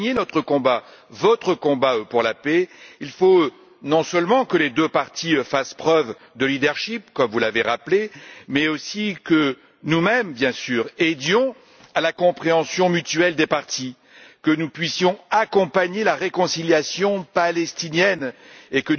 Pour gagner notre combat, votre combat pour la paix, il faut non seulement que les deux parties fassent preuve de leadership comme vous l'avez rappelé, mais aussi que nous mêmes bien sûr aidions à la compréhension mutuelle des parties, que nous puissions accompagner la réconciliation palestinienne et